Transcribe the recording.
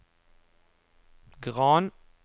Gran